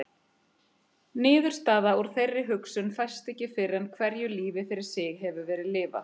Niðurstaða úr þeirri hugsun fæst ekki fyrr en hverju lífi fyrir sig hefur verið lifað.